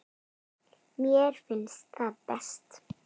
Mér finnst það best.